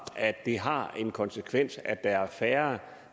at det har den konsekvens at der er færre